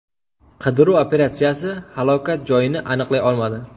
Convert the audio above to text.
Qidiruv operatsiyasi halokat joyini aniqlay olmadi.